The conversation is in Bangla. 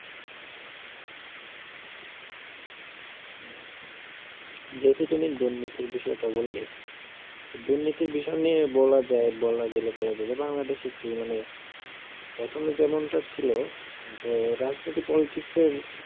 যেহেতু তুমি দুর্নীতির বিষয়টা বললে তো দুর্নীতির বিষয় নিয়ে বলা যায় বলা গেলে বলা যায় যে বাংলাদেশ একটি মানে প্রথমে যেমনটা ছিল হম তো রাজনীতি পলিটিক্সের